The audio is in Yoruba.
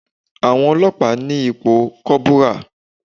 Àwọn Ọlọ́pàá ni ipò kọ́bùrà.